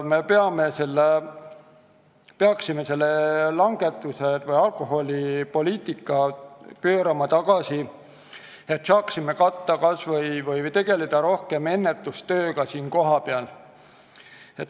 Me peaksime alkoholipoliitika tagasi pöörama, et saaksime rohkem ennetustööga tegeleda.